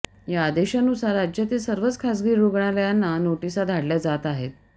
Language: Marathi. या आदेशानुसार राज्यातील सर्वच खासगी रुग्णालयांना नोटीसा धाडल्या जात आहेत